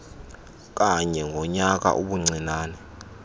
kanye ngonyaka ubuncinane